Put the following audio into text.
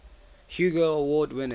hugo award winner